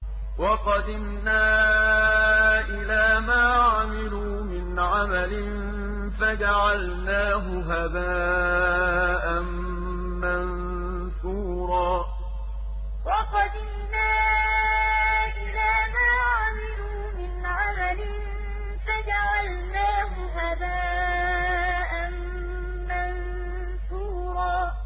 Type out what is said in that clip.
وَقَدِمْنَا إِلَىٰ مَا عَمِلُوا مِنْ عَمَلٍ فَجَعَلْنَاهُ هَبَاءً مَّنثُورًا وَقَدِمْنَا إِلَىٰ مَا عَمِلُوا مِنْ عَمَلٍ فَجَعَلْنَاهُ هَبَاءً مَّنثُورًا